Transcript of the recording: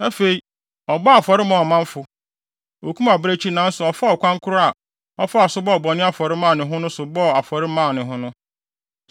Afei, ɔbɔɔ afɔre maa ɔmanfo. Okum abirekyi nanso ɔfaa ɔkwan koro a ɔfaa so bɔɔ bɔne afɔre maa ne ho no so bɔɔ afɔre maa ne ho.